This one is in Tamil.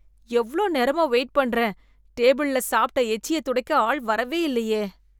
எவ்ளோ நேரமா வெயிட் பண்றேன், டேபிள்ல சாப்பிட்ட எச்சிய துடைக்க ஆள் வரவே இல்லயே.